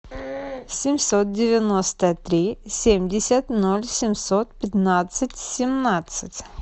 семьсот девяносто три семьдесят ноль семьсот пятнадцать семнадцать